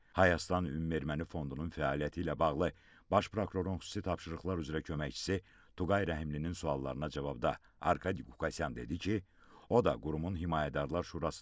Hayastan Ümumi Erməni Fondunun fəaliyyəti ilə bağlı Baş Prokurorun xüsusi tapşırıqlar üzrə köməkçisi Tuqay Rəhimlinin suallarına cavabda Arkadi Qukasyan dedi ki, o da qurumun Himayədarlar Şurasının üzvü olub.